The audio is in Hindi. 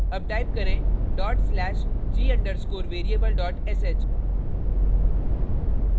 अब type करें dot slash g _ underscore variable sh